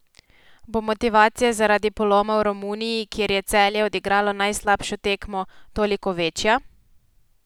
Bo motivacija zaradi poloma v Romuniji, kjer je Celje odigralo najslabšo tekmo, toliko večja?